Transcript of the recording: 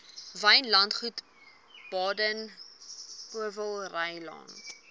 wynlandgoed baden powellrylaan